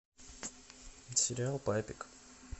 сериал папик